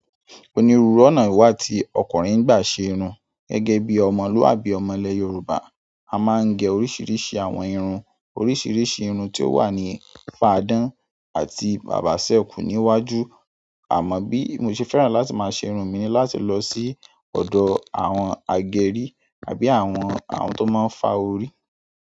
Onírùúru ọ̀nà wà tí ọkùnrin n gbá ṣe irun. Gẹ́gẹ́ bí ọmọlúwàbí ọmọolẹ Yorùbá, a máa ń gẹ oríṣiríṣi àwọn irun. Oríṣiríṣi irun tí ó wà ní fadán àti bàbá sẹ́kú níwájú. Àmọ bí mo ṣe fẹ́ràn láti máa ṣe irun mi ni láti lọ sí ọ̀dọ̀ àwọn agẹrí àbí àwọn, àwọn tó máa ń fa orí.